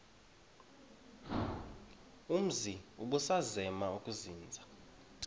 umzi ubusazema ukuzinza